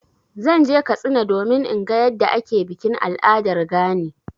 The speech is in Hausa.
Zan je Katsina domin in ga yadda ake bikin al'adar gani.